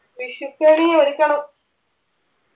വിഷുക്കണി ഒരുക്കണം